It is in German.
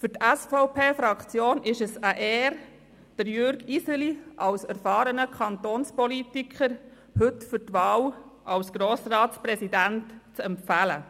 Für die SVP-Fraktion ist es eine Ehre, heute Jürg Iseli als erfahrenen Kantonspolitiker für die Wahl zum Grossratspräsidenten zu empfehlen.